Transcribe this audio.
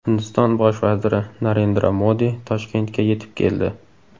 Hindiston bosh vaziri Narendra Modi Toshkentga yetib keldi.